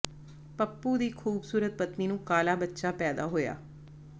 ਪੱਪੂ ਦੀ ਖੂਬਸੂਰਤ ਪਤਨੀ ਨੂੰ ਕਾਲ਼ਾ ਬੱਚਾ ਪੈਦਾ ਹੋਇਆ